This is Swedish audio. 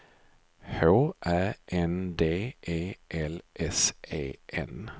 H Ä N D E L S E N